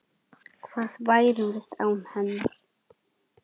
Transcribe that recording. Hvað værum við án hennar?